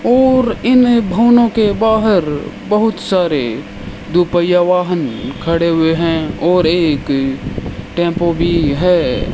और इन भवनों के बाहर बहुत सारे दो पहिया वाहन खड़े हुए हैं और एक टेंपो भी है।